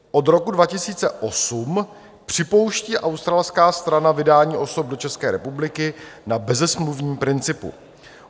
Od roku 2008 připouští australská strana vydání osob do České republiky na bezesmluvním principu.